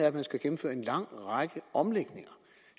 at man skal gennemføre en lang række omlægninger